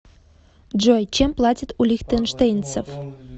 джой чем платят у лихтенштейнцев